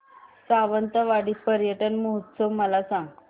सावंतवाडी पर्यटन महोत्सव मला सांग